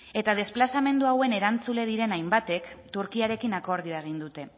eta desplazamendu hauen erantzule diren hainbatek turkiarekin akordioa egin dute